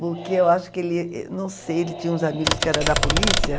Porque eu acho que ele, não sei, ele tinha uns amigos que eram da polícia.